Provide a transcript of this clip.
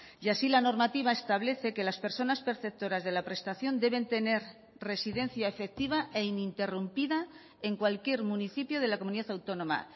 y así la normativa establece que las personas perceptoras de la prestación deben tener residencia efectiva e ininterrumpida en cualquier municipio de la comunidad autónoma